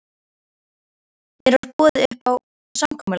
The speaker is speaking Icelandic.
Mér var boðið upp á samkomulag